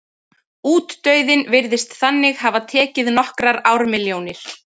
Útdauðinn virðist þannig hafa tekið nokkrar ármilljónir.